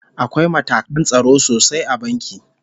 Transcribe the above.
Akwai matakan tsaro sosai a banki